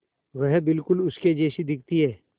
वह बिल्कुल उसके जैसी दिखती है